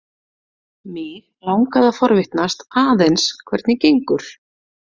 Mig langaði að forvitnast aðeins hvernig gengur.